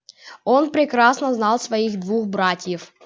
он прекрасно знал своих двух братьев